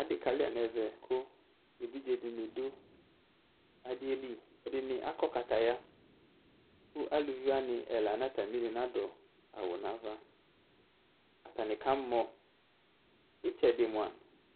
ɑdikɑluanɛvɛ ku ɛvidzedini du du ɑdieli ɛdini ɑkɔkɑtɑya ku luviwɑni ɛlɑnɑtɑmili nɑdua nɑvɑ ɑtɑni kạmɔ itsedimɔa